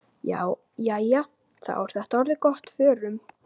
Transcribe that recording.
Jæja, þá er þetta orðið gott. Förum.